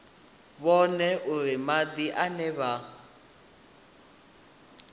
vhone uri madi ane vha